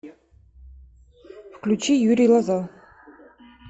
включи юрий лоза